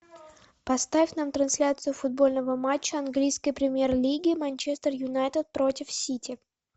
поставь нам трансляцию футбольного матча английской премьер лиги манчестер юнайтед против сити